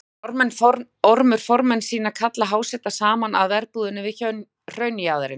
Lætur Ormur formenn sína kalla háseta saman að verbúðinni við hraunjaðarinn.